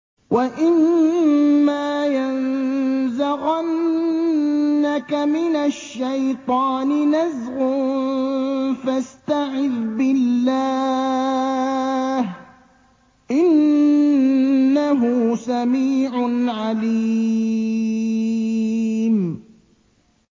وَإِمَّا يَنزَغَنَّكَ مِنَ الشَّيْطَانِ نَزْغٌ فَاسْتَعِذْ بِاللَّهِ ۚ إِنَّهُ سَمِيعٌ عَلِيمٌ